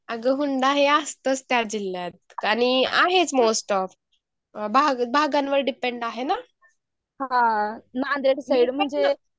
आणि जर हुंडा हे असतंच त्या जिल्हात आणि आहेच मस्ट ऑफ भाग भागांनवर डिपेंड आहे ना नांदेड साईड म्हेणज